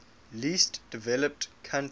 least developed countries